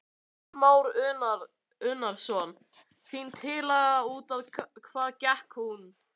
Kristján Már Unnarsson: Þín tillaga, út á hvað gekk hún?